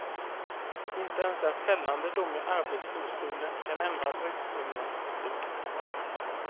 Inte ens en fällande dom i arbetsdomstolen kan ändra bruksledningens beslut.